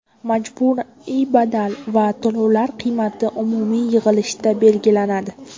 Majburiy badal va to‘lovlar qiymati umumiy yig‘ilishda belgilanadi.